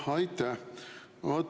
Aitäh!